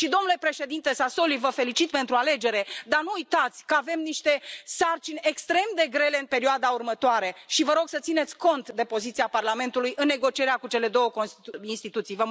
Și domnule președinte Sassoli, vă felicit pentru alegere, dar nu uitați că avem niște sarcini extrem de grele în perioada următoare și vă rog să țineți cont de poziția Parlamentului în negocierea cu cele două instituții.